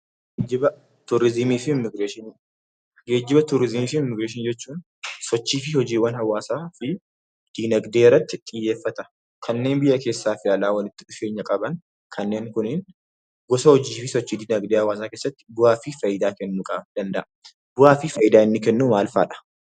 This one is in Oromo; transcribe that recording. Geejjiba, Turizimii fi Immigireeshinii jechuun sochii fi hojiiwwan hawaasa fi dinagdee irratti xiyyeeffata. Kanneen biyya keessaa fi alaa walitti dhufeenya qaban kanneen kunniin gosa hojii fi sochii dinagdee hawaasaa keessatti bu'aa fi faayidaa kennuu qaba. Bu'aa fi faayidaa inni kennu maal faadha?